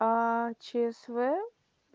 аа чсв